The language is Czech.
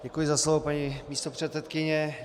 Děkuji za slovo paní místopředsedkyně.